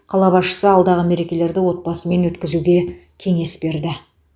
қала басшысы алдағы мерекелерді отбасымен өткізуге кеңес берді